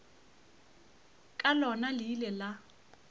ka lona le ile la